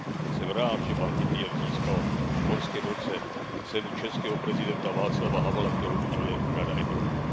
Jsem rád, že pan Titjev získal v loňském roce cenu českého prezidenta Václava Havla, kterou uděluje Rada Evropy.